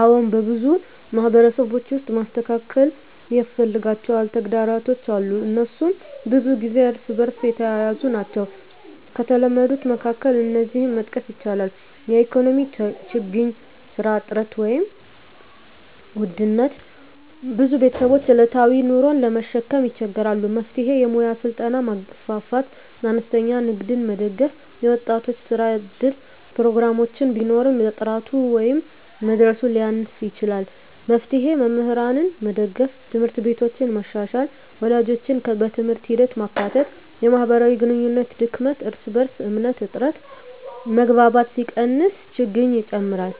አዎን፣ በብዙ ማህበረሰቦች ውስጥ መስተካከል ያስፈልጋቸው ተግዳሮቶች አሉ፤ እነሱም ብዙ ጊዜ እርስ በእርስ የተያያዙ ናቸው። ከተለመዱት መካከል እነዚህን መጥቀስ ይቻላል፦ 1) የኢኮኖሚ ችግኝ (ስራ እጥረት፣ ውድነት): ብዙ ቤተሰቦች ዕለታዊ ኑሮን ለመሸከም ይቸገራሉ። መፍትሄ: የሙያ ስልጠና ማስፋፋት፣ አነስተኛ ንግድን መደገፍ፣ የወጣቶች የስራ እድል ፕሮግራሞችን ማበርታት። 2) የትምህርት ጥራት እና ተደራሽነት: ትምህርት ቢኖርም ጥራቱ ወይም መድረሱ ሊያንስ ይችላል። መፍትሄ: መምህራንን መደገፍ፣ ት/ቤቶችን መሻሻል፣ ወላጆችን በትምህርት ሂደት ማካተት። 3) የማህበራዊ ግንኙነት ድክመት (እርስ በእርስ እምነት እጥረት): መግባባት ሲቀንስ ችግኝ ይጨምራል።